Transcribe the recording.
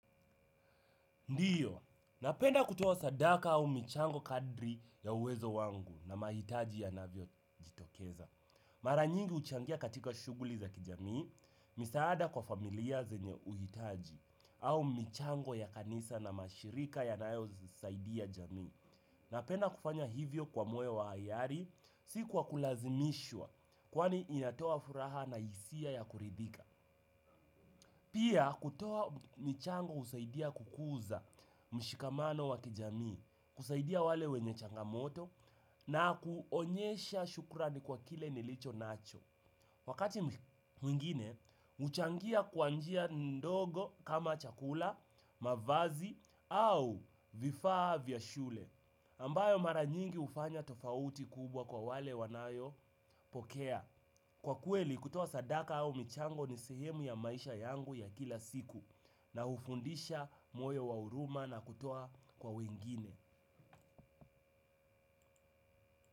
Ndiyo, napenda kutoa sadaka au michango kadri ya uwezo wangu na mahitaji yanavyojitokeza. Mara nyingi huchangia katika shughuli za kijamii, misaada kwa familia zenye uhitaji au michango ya kanisa na mashirika yanayozisaidia jamii. Napenda kufanya hivyo kwa moyo wa hiari si kwa kulazimishwa, kwani inatoa furaha na hisia ya kuridhika. Pia kutoa michango husaidia kukuza mshikamano wa kijamii, kusaidia wale wenye changamoto na kuonyesha shukrani kwa kile nilichonacho. Wakati mwingine, huchangia kwa njia ndogo kama chakula, mavazi au vifaa vya shule. Ambayo mara nyingi hufanya tofauti kubwa kwa wale wanayo pokea. Kwa kweli kutoa sadaka au michango ni sehemu ya maisha yangu ya kila siku na hufundisha moyo wa huruma na kutoa kwa wengine.